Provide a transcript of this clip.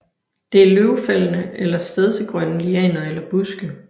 Det er løvfældende eller stedsegrønne lianer eller buske